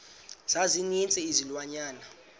za ninzi izilwanyana